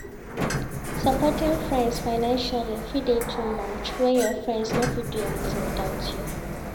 Supporting friends financially fit de too much when your friend no fit do anything without you